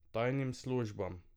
Tajnim službam.